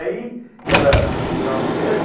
Aí era final de ano.